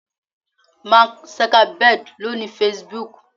Mark Zuckerberg lo ni Facebook.